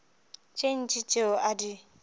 tše ntši tšeo a di